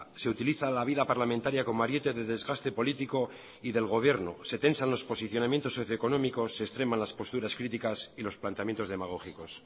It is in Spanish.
se utiliza la vida parlamentaria como ariete de desgaste político y del gobierno se tensan los posicionamientos socio económicos se extreman las posturas críticas y los planteamientos demagógicos